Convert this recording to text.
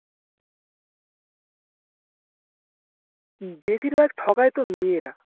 উম বেশিরভাগ ঠকায়তো মেয়েরা